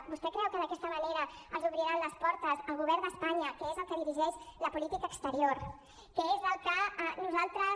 vostè creu que d’aquesta manera els obrirà les portes el govern d’espanya que és el que dirigeix la política exterior que és al que nosaltres